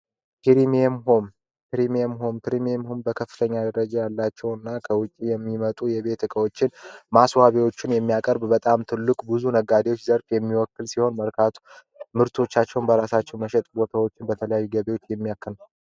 ፕሪሚየም ሆም ፕሪሚየም ሆም በከፍተኛ ደረጃ ያላቸው እና ከውጪ የሚመጡ የቤት እቃዎችን ማስዋቢዎችን የሚያቀርብ በጣም ትልቅ ብዙ ነጋዴዎች ዘርፍ የሚወክል ሲሆን፤ መርካቶ ምርቶቻቸውን በራሳቸው መሸጥ ቦታዎችን በተለያዩ ገቢዎችን የሚያክል ነው።